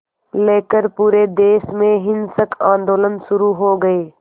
लेकर पूरे देश में हिंसक आंदोलन शुरू हो गए